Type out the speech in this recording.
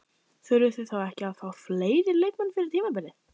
Þurfið þið þá ekki að fá fleiri leikmenn fyrir tímabilið?